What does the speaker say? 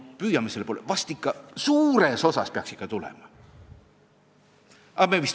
No püüame selle poole, vahest suures osas ikka tuleb!